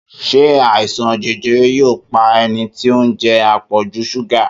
Ṣé àìsàn jẹjẹrẹ yóò pa ẹni tí ó ń jẹ àpọ̀jù súgà?